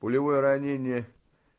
пулевое ранение